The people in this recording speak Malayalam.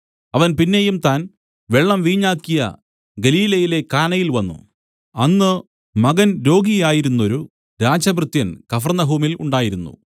അവൻ പിന്നെയും താൻ വെള്ളം വീഞ്ഞാക്കിയ ഗലീലയിലെ കാനയിൽ വന്നു അന്ന് മകൻ രോഗിയായിരുന്നൊരു രാജഭൃത്യൻ കഫർന്നഹൂമിൽ ഉണ്ടായിരുന്നു